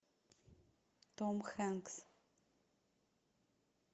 том хэнкс